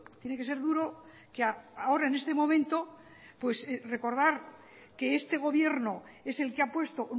tiene que ser duro que ahora en este momento recordar que este gobierno es el que ha puesto